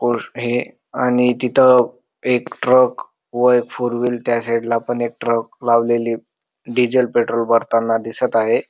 आणि तिथ एक ट्रक व एक फोरव्हिल पण त्या साइटला पण एक ट्रक लावलेली डिझेल पेट्रोल भरताना दिसत आहे.